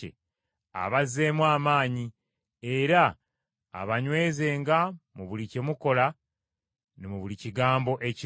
abazzeemu amaanyi, era abanywezenga mu buli kye mukola ne mu buli kigambo ekirungi.